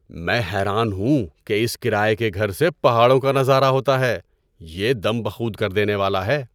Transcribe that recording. میں حیران ہوں کہ اس کرایے کے گھر سے پہاڑوں کا نظارہ ہوتا ہے۔ یہ دم بخود کردینے والا ہے!